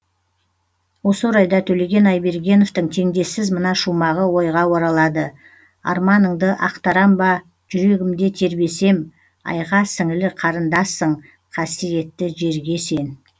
осы орайда төлеген айбергеновтің теңдессіз мына шумағы ойға оралады арманыңды ақтарам ба жүрегімде тербесем айға сіңлі қарындассың қасиетті жерге сен